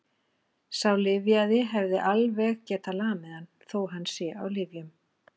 Sá lyfjaði hefði alveg getað lamið hann, þó að hann sé á lyfjum.